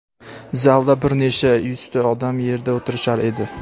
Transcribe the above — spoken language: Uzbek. Zalda bir necha yuzta odam yerda o‘tirishar edi.